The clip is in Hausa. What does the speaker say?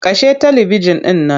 Kashe talibijin ɗin nan.